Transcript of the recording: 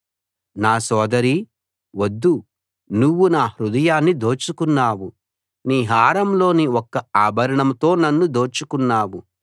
నా సోదరీ వధూ నువ్వు నా హృదయాన్ని దోచుకున్నావు నీ హారంలోని ఒక్క ఆభరణంతో నన్ను దోచుకున్నావు